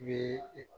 Bi e